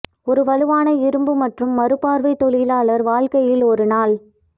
ஒரு வலுவான இரும்பு மற்றும் மறுபார்வை தொழிலாளர் வாழ்க்கையில் ஒரு நாள்